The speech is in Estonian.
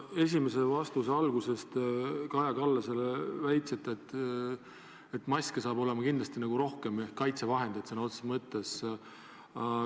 Oma esimese vastuse alguses te väitsite, et maske saab olema kindlasti rohkem ja teisi kaitsevahendeid samuti.